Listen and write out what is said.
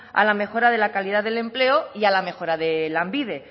a la mejora de la calidad del empleo y a la mejora de lanbide